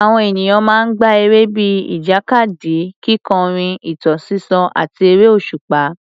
Àwọn ènìyàn máa ń gbá eré bíi ìjàkadì, kíkọrin, ìtàn sísọ, àti eré òṣùpá.